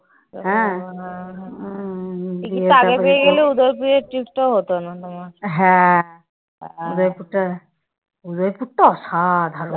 উদয়পুরটা অসাধারণ।